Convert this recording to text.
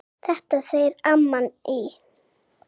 Þetta segir amman í